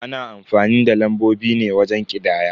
Ana amfani da lambobi ne wajen ƙidaya.